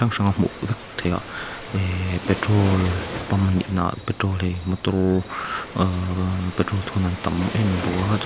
hrang a hmuh vek theih a ehh petrol pump anih na ah petrol hi motor ahh petrol thun an tam em em bawk a chuan--